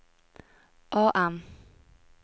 AM